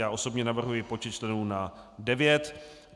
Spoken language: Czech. Já osobně navrhuji počet členů na devět.